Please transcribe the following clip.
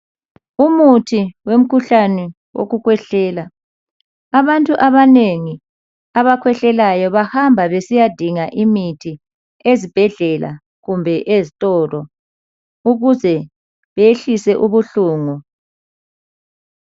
Umuthi wemkhuhlane wokukhwehlela. Abantu abanengi abakhwehlelayo, bahamba besiyadinga imithi, ezibhedlela kumbe ezitolo, ukuze behlise ubuhlungu.